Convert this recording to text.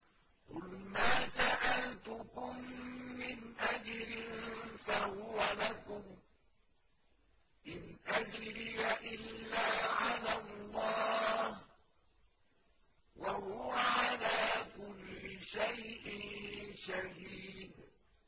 قُلْ مَا سَأَلْتُكُم مِّنْ أَجْرٍ فَهُوَ لَكُمْ ۖ إِنْ أَجْرِيَ إِلَّا عَلَى اللَّهِ ۖ وَهُوَ عَلَىٰ كُلِّ شَيْءٍ شَهِيدٌ